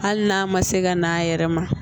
Hali n'a ma se ka n'a yɛrɛ ma